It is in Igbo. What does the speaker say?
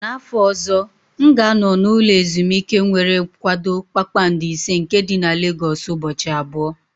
N'afọ ọzọ, m ga-anọ n'ụlọ ezimuike nwere kwado kpakpando ise nke dị na Legosu ụbọchị abụọ.